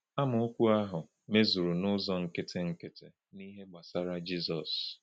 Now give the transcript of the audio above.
Amaokwu ahụ mezuru n’ụzọ nkịtị nkịtị n’ihe gbasara Jizọs.